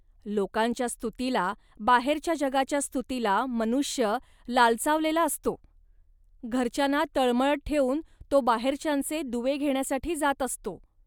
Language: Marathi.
लोकांच्या स्तुतीला, बाहेरच्या जगाच्या स्तुतीला, मनुष्य लालचावलेला असतो. घरच्यांना तळमळत ठेवून तो बाहेरच्यांचे दुवे घेण्यासाठी जात असतो